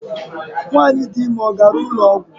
Nwanyị dị ime ọ gara ụlọ ọgwụ?